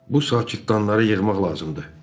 Bu sakit cırtanları yığmaq lazımdır.